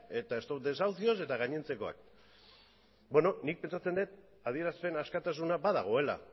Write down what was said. eta stop desahucios eta gainontzekoak beno nik pentsatzen dut adierazpen askatasuna badagoela